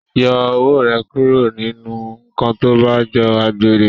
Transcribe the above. Yọ ọwọ rẹ kúrò nínú nkán tó bá jọ àgbèrè!